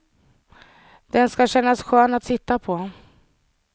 Den ska kännas skön att sitta på.